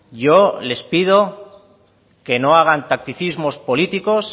yo les pido que no hagan tacticismos políticos